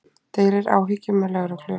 Deilir áhyggjum með lögreglu